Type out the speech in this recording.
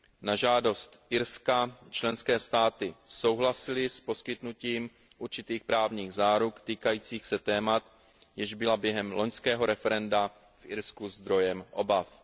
Na žádost Irska členské státy souhlasily s poskytnutím určitých právních záruk týkajících se témat, jež byla během loňského referenda v Irsku zdrojem obav.